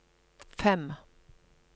fem